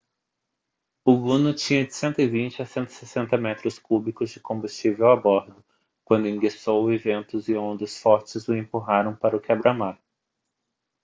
o luno tinha de 120 a 160 metros cúbicos de combustível a bordo quando enguiçou e ventos e ondas fortes o empurraram para o quebra-mar